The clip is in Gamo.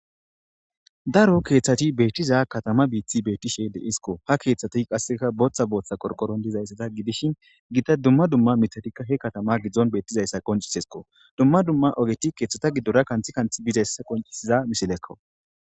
Daro keeththati beettiza katama biithi beettishe deisiko ha keeththati qasseka booththa booththa korqoron dizayssada gidishin gida dumma dumma mitadikka he katama giddzon beettizayssa qoncisesko dumma dumma ogeti keeththata giddora kanthi kanth bizayssa qoncisiza misilekko.